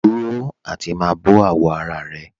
Dúró àti má bọ̀ àwọ̀ ara rẹ̀